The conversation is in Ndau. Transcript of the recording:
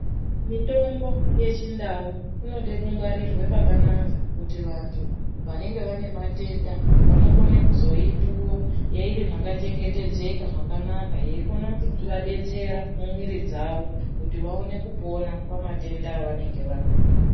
Mitombo yechindau inode kungwarirwe pakanaka, kuti vantu vanenge vane matenda vanokone kuzoipuwa iri mwakachengetedzeka, mwakanaka. Yeikona kuvadetsera mumwiri dzavo, kuti vaone kupona pamatenda evanenge vanawo.